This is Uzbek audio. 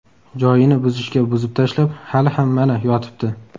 Joyini buzishga buzib tashlab, hali ham, mana, yotibdi.